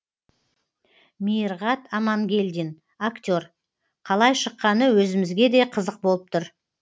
мейірғат амангелдин актер қалай шыққаны өзімізге де қызық болып тұр